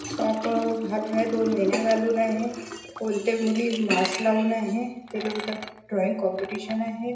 Top अंह घालून आहे दोन वेण्या घालून आहे कोणते मुली मास्क लावून आहे ते लोक इथे ड्रॉइंग कॉम्पिटिशन आहे.